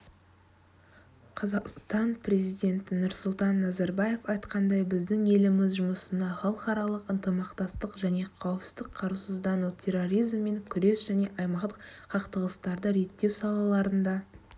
қазақстан президенті нұрсұлтан назарбаев айтқандай біздің еліміз жұмысына халқыралық ынтымақтастық және қауіпсіздік қарусыздану терроризммен күрес және аймақтық қақтығыстарды ретттеу салаларында